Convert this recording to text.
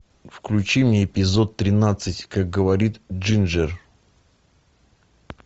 включи мне эпизод тринадцать как говорит джинджер